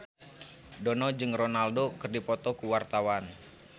Dono jeung Ronaldo keur dipoto ku wartawan